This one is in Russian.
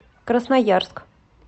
красноярск